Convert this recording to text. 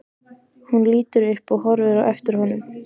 Hún lítur upp og horfir á eftir honum.